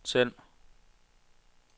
send